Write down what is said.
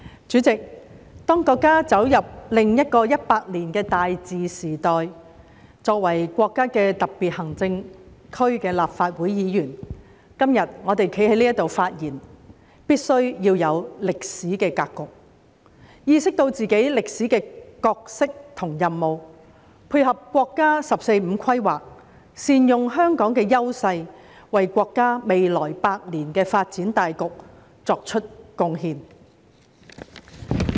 主席，當國家走入另一個100年的大治時代，作為國家的特別行政區的立法會議員，我們今天站在這裏的發言，必須要清楚歷史的格局，意識到自己的歷史角色和任務，配合國家"十四五"規劃，善用香港的優勢，為國家未來百年的發展大局作出貢獻。